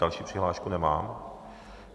Další přihlášku nemám.